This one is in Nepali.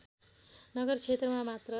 नगर क्षेत्रमा मात्र